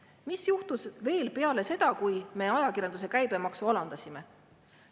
Mis juhtus veel peale seda, kui me ajakirjanduse käibemaksu alandasime?